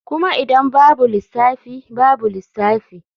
Kuma idan babu lissafi babu lissafi.